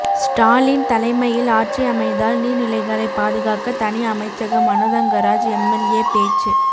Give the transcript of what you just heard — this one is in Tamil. ஸ்டாலின் தலைமையில் ஆட்சி அமைந்தால் நீர்நிலைகளை பாதுகாக்க தனி அமைச்சகம் மனோதங்கராஜ் எம்எல்ஏ பேச்சு